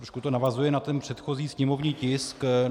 Trochu to navazuje na ten předchozí sněmovní tisk.